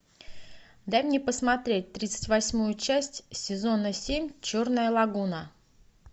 дай мне посмотреть тридцать восьмую часть сезона семь черная лагуна